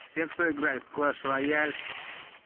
все кто играет в клэш рояль